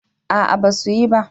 A'a ba su yi ba